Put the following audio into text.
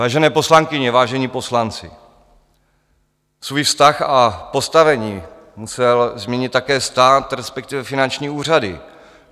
Vážené poslankyně, vážení poslanci, svůj vztah a postavení musel změnit také stát, respektive finanční úřady.